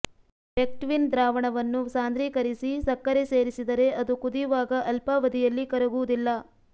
pectin ದ್ರಾವಣವನ್ನು ಸಾಂದ್ರೀಕರಿಸಿ ಸಕ್ಕರೆ ಸೇರಿಸಿದರೆ ಅದು ಕುದಿಯುವಾಗ ಅಲ್ಪಾವಧಿಯಲ್ಲಿ ಕರಗುವುದಿಲ್ಲ